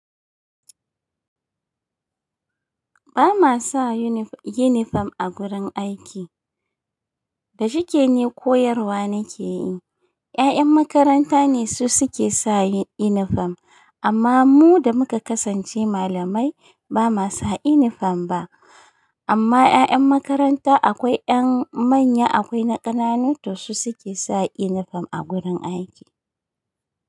Ba ma sa yunif- yunifam a gurin aiki. Da shike ne koyarwa nake yi. 'Ya'yan makaranta ne su suke sa yunifam, amma mu da muka kasance malamai ba ma sa yunifam ba. Amma 'ya'yan makaranta akwai 'yan manya akwai na ƙananu to su suke sa yunifam a gurin aiki.